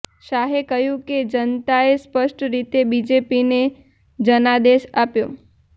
શાહે કહ્યું કે જનતાએ સ્પષ્ટ રીતે બીજેપીને જનાદેશ આપ્યો